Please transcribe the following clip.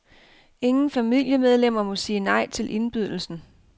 Ingen familiemedlemmer må sige nej til indbydelsen.